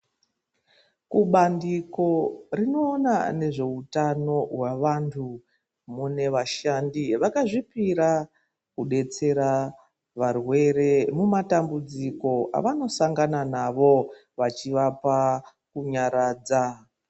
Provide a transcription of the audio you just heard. Kubandiko rinoona nezveutano wevantu nevashandi vakazvipira kudetsera varwere mumatambudziko aanosangana navo vachimapa kunyaradza.